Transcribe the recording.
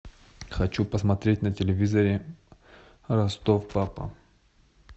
хочу посмотреть на телевизоре ростов папа